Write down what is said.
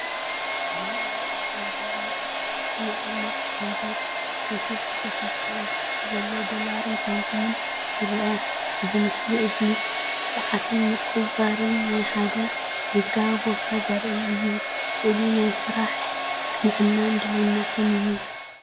እዚ መቀመጢ ገንዘብ የርኢ። እቲ ቀመጢ ገንዘብ ብኸፊል ተኸፊቱ ኣብ ውሽጢ ዘሎ ዶላርን ሳንቲምን ይርአ። እዚ ምስሊ እዚ ስርዓትን ምቁጽጻርን ናይ ሓደ ንግዳዊ ቦታ ዘርኢ እዩ። ስእሊ ናይ ስራሕ ቅንዕናን ድልውነትን እዩ።